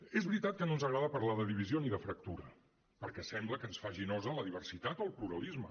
és veritat que no ens agrada parlar de divisió ni de fractura perquè sembla que ens faci nosa la diversitat o el pluralisme